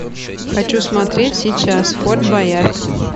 хочу смотреть сейчас форт боярд